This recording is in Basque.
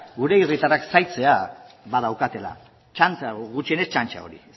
gure herritarrak zaintzea badaukatela gutxienez txantxa hori